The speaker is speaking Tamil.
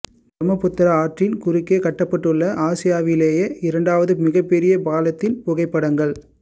பிரம்மபுத்திரா ஆற்றின் குறுக்கே கட்டப்பட்டுள்ள ஆசியாவிலேயே இரண்டாவது மிகப்பெரிய பாலத்தின் புகைப்படங்கள்